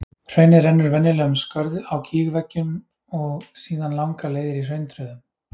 Hraunið rennur venjulega um skörð á gígveggjunum og síðan langar leiðir í hrauntröðum.